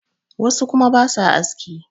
wasu kuma ba sa aski